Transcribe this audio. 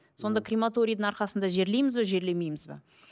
сонда крематорийдің арқасында жерлейміз бе жерлемейміз бе